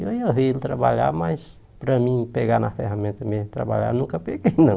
E eu ia ver ele trabalhar, mas para mim pegar na ferramenta mesmo e trabalhar, nunca peguei, não.